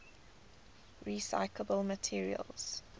recyclable materials